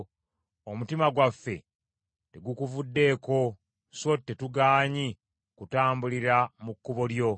Omutima gwaffe tegukuvuddeeko, so tetugaanyi kutambulira mu kkubo lyo.